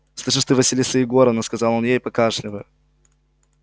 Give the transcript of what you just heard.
слышишь ты василиса егоровна сказал он ей покашливая